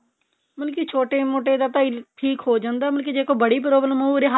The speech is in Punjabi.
ਮਤਲਬ ਕੀ ਛੋਟੇ ਮੋਟੇ ਦਾ ਤਾਂ ਠੀਕ ਹੋ ਜਾਂਦਾ ਮਤਲਬ ਜੇ ਕੋਈ ਬੜੀ problem ਹੋਜੇ ਉਹ ਉਰੇ